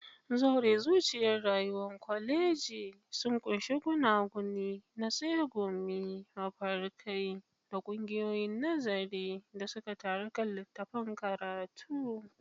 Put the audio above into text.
Zaure, zuciyar rayuwar koleji, sun ƙunshi gunaguni na tsegumi, mafarkai, da ƙungiyoyin nazari da suka taru kan littattafan karatu.